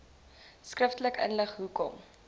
skriftelik inlig hoekom